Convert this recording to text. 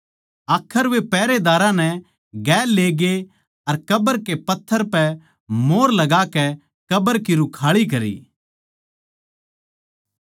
आखर वे पैहरेदारां नै गेल लेकै ग्ये अर कब्र के पत्थर पै मोंहर लगाकै कब्र की रुखाळी करी